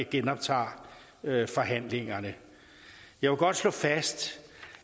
genoptager forhandlingerne jeg vil godt slå fast